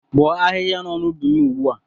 Bọọ ahịhịa nọ n'ubi m ugbu a!